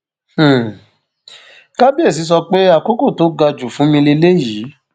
um kábíésì sọ pé àkókò tó ga jù fún mi lélẹyìí